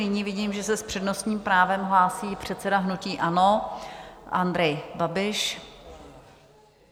Nyní vidím, že se s přednostním právem hlásí předseda hnutí ANO Andrej Babiš.